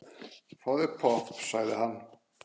Fáðu þér popp, sagði hann.